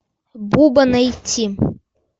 буба найти